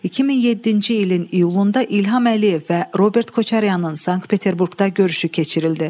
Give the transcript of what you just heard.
2007-ci ilin iyulunda İlham Əliyev və Robert Koçaryanın Sankt-Peterburqda görüşü keçirildi.